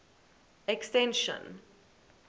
extension